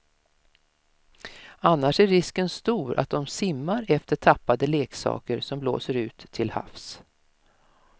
Annars är risken stor att de simmar efter tappade leksaker som blåser ut till havs.